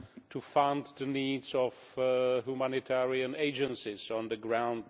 to fund the needs of humanitarian agencies on the ground.